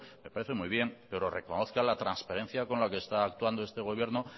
me parece muy bien pero reconozca la transparencia con la que está actuando este gobierno